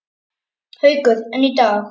Haukur: En í dag?